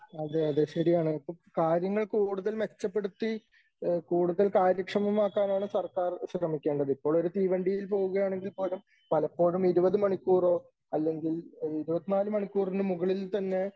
അതേ അതേ ശരിയാണ് . അപ്പോ കാര്യങ്ങൾ കൂടുതൽ മെച്ചപ്പെടുത്തി കൂടുതൽ കാര്യക്ഷമമാക്കാൻആണ് സർക്കാർ ശ്രമിക്കേണ്ടത്. ഇപ്പോൾ ഒരു തീവണ്ടിയിൽ പോകുകയാണെങ്കിൽ പോലും പലപ്പോഴും ഇരുപത് മണിക്കൂറോ അല്ലെങ്കിൽ ഇരുപത്തിനാല് മണിക്കൂറിന് മുകളിൽ തന്നെ